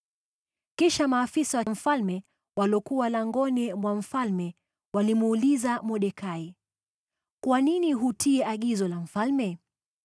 Kisha maafisa wa mfalme waliokuwa langoni mwa mfalme walimuuliza Mordekai, “Kwa nini hutii agizo la mfalme?”